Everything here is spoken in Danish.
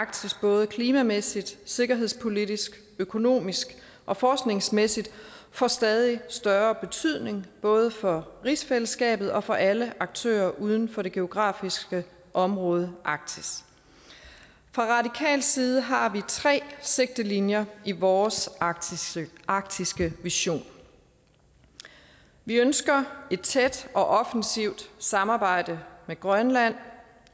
arktis både klimamæssigt sikkerhedspolitisk økonomisk og forskningsmæssigt får stadig større betydning både for rigsfællesskabet og for alle aktører uden for det geografiske område arktis fra radikal side har vi tre sigtelinjer i vores arktiske arktiske vision vi ønsker et tæt og offensivt samarbejde med grønland